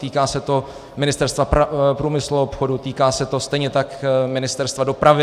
Týká se to Ministerstva průmyslu a obchodu, týká se to stejně tak Ministerstva dopravy.